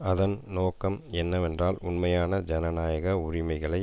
அதன் நோக்கம் என்னவென்றால் உண்மையான ஜனநாயக உரிமைகளை